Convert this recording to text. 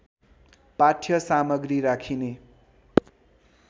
पाठ्य सामग्री राखिने